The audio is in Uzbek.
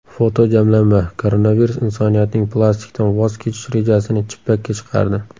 Fotojamlanma: Koronavirus insoniyatning plastikdan voz kechish rejasini chippakka chiqardi.